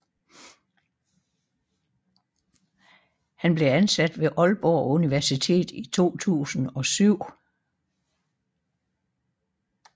Han blev ansat ved Aalborg Universitet i 2007